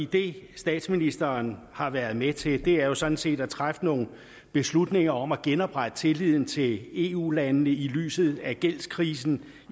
det statsministeren har været med til har jo sådan set været at træffe nogle beslutninger om at genoprette tilliden til eu landene i lyset af gældskrisen